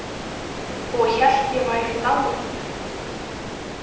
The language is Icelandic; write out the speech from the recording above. Og hélt ég væri dáin.